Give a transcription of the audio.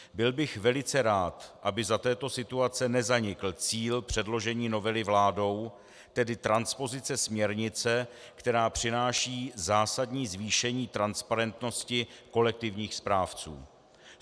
Byl bych velice rád, aby za této situace nezanikl cíl předložení novely vládou, tedy transpozice směrnice, která přináší zásadní zvýšení transparentnosti kolektivních správců.